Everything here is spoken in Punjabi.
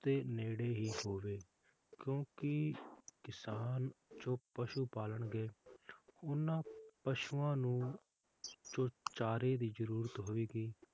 ਦੇ ਨੇੜੇ ਹੀ ਹੋਵੇ ਕਿਉਂਕਿ ਕਿਸਾਨ ਜੋ ਪਸ਼ੂ ਪਾਲਣਗੇ ਓਹਨਾ ਪਸ਼ੂਆਂ ਨੂੰ ਜੋ ਚਾਰੇ ਦੀ ਜਰੂਰਤ ਹੋਵੇਗੀ